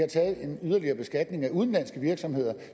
en yderligere beskatning af udenlandske virksomheder